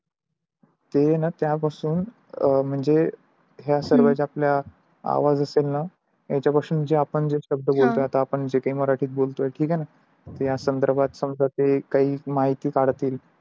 ते आहे न त्या पासून अ म्हणजे हा सर्वे आपला आवाज येतेन त्याच्या पासून आपण जे शब्द बोलतो आहो जे काही मराठी मध्ये बोलतोय ठीक आहे न या संदर्भात समजा ते काही माहिती काढतील.